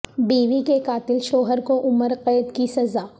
بیوی کے قاتل شوہر کو عمر قید کی سزا